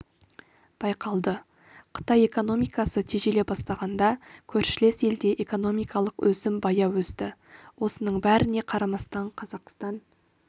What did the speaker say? байқалды қытай экономикасы тежеле бастағанда көршілес елде экономикалық өсім баяу өсті осының бәріне қарамастан қазақстан